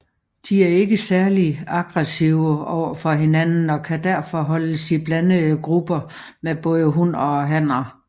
De er ikke særligt aggressive overfor hinanden og kan derfor holdes i blandede grupper med både hunner og hanner